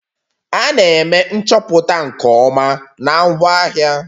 A na-eme nchọpụta nke ọma na ngwaahịa